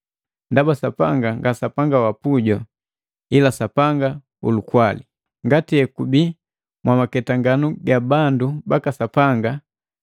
Ndaba Sapanga nga Sapanga wa puju, ila Sapanga ulukwali. Ngati ekubii mwamaketanganu ga bandu baka Sapanga,